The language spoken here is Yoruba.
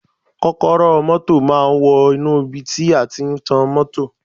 Kọ́kọ́rọ́ ọ mọ́tọ̀ máa wọnú ibi tí a tí ń tan mọ́tọ̀.